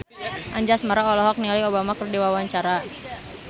Anjasmara olohok ningali Obama keur diwawancara